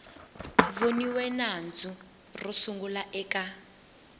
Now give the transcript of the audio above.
voniwe nandzu ro sungula eka